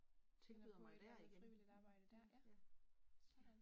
Finder på et eller andet frivilligt arbejde der, ja, sådan